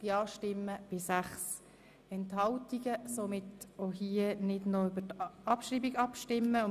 Somit stimmen wir auch hier nicht über die Abschreibung ab.